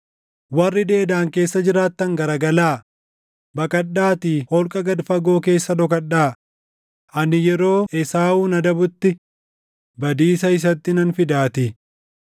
Warri Deedaan keessa jiraattan garagalaa, baqadhaatii holqa gad fagoo keessa dhokadhaa; ani yeroo Esaawun adabutti badiisa isatti nan fidaatii.